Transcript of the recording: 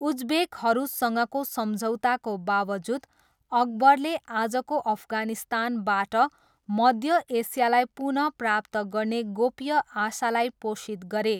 उज्बेकहरूसँगको सम्झौताको बावजुद, अकबरले आजको अफगानिस्तानबाट मध्य एसियालाई पुन प्राप्त गर्ने गोप्य आशालाई पोषित गरे।